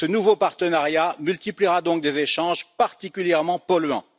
Ce nouveau partenariat multipliera donc des échanges particulièrement polluants.